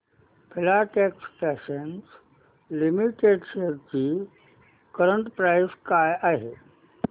Filatex fashions limited shares ची current price काय आहे